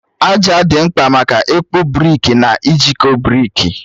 Aja dị mkpa maka ịkpụ brikị na ijikọ brikị.